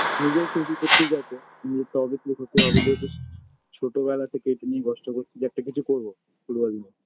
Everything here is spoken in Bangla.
নিজের খুশি তো ঠিক আছে নিজে তো obviously খুশি হবে যেহেতু ছ ছোটো বেলা থেকে এটা নিয়ে কষ্ট করছি যে একটা কিছু করবো ফুটবল নিয়ে